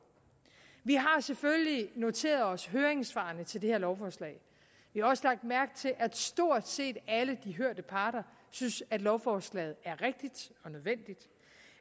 vi har selvfølgelig noteret os høringssvarene til det her lovforslag vi har også lagt mærke til at stort set alle de hørte parter synes at lovforslaget er rigtigt og nødvendigt